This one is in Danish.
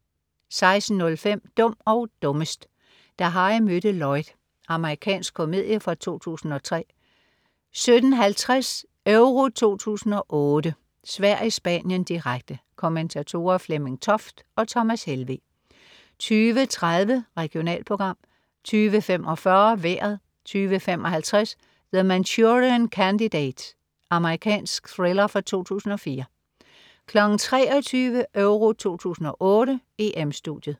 16.05 Dum og dummest: Da Harry mødte Lloyd. Amerikansk komedie fra 2003 17.50 EURO 2008: Sverige-Spanien, direkte. Kommentatorer: Flemming Toft og Thomas Helveg 20.30 Regionalprogram 20.45 Vejret 20.55 The Manchurian Candidate. Amerikansk thriller fra 2004 23.00 EURO 2008: EM-Studiet